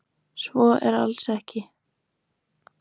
Svo er alls ekki.